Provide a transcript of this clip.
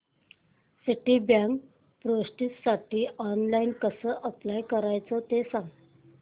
Citibank प्रेस्टिजसाठी online कसं apply करायचं ते सांग